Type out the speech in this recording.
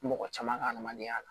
Mɔgɔ caman ka adamadenya la